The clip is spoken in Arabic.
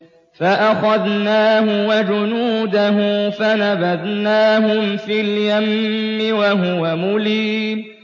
فَأَخَذْنَاهُ وَجُنُودَهُ فَنَبَذْنَاهُمْ فِي الْيَمِّ وَهُوَ مُلِيمٌ